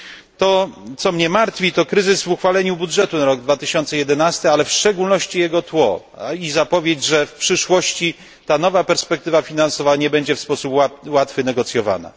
To co mnie martwi, to kryzys w uchwaleniu budżetu na rok 2011, ale w szczególności jego tło i zapowiedź, że w przyszłości ta nowa perspektywa finansowa nie będzie w sposób łatwy negocjowana.